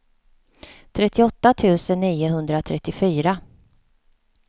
trettioåtta tusen niohundratrettiofyra